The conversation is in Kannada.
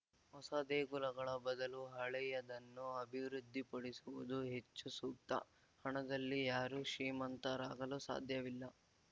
ಹೊಸ ದೇಗುಲಗಳ ಬದಲು ಹಳೆಯದನ್ನು ಅಭಿವೃದ್ಧಿಪಡಿಸುವುದು ಹೆಚ್ಚು ಸೂಕ್ತ ಹಣದಲ್ಲಿ ಯಾರೂ ಶ್ರೀಮಂತರಾಗಲು ಸಾಧ್ಯವಿಲ್ಲ